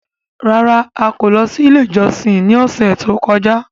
Rárá! A kò lọ sí ilé ìjọsìn ní ọ̀sẹ̀ tó kọjá.